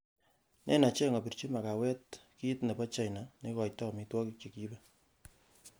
nen acheng' opirji makawet nrgit nebo china neigoito omitwogik chegiibe